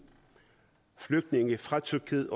flygtninge fra tyrkiet